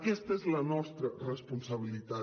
aquesta és la nostra responsabilitat